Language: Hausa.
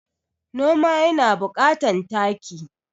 Noma yana bukatan taki